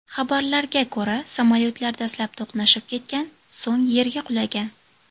Xabarlarga ko‘ra, samolyotlar dastlab to‘qnashib ketgan, so‘ng yerga qulagan.